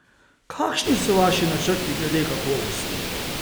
Kakšni so vaši načrti glede kakovosti?